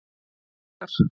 Öxar